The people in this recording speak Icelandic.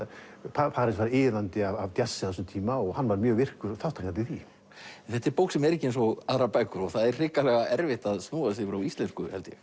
París var iðandi af jazzi á þessum tíma hann var mjög virkur þátttakandi í því en þetta er bók sem er ekki eins og aðrar bækur og það er hrikalega erfitt að snúa þessu yfir á íslensku held ég